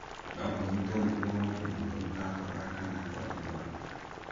No ũnyitwo nĩguo mũndũ mũrwaru akorora kana gwathimũra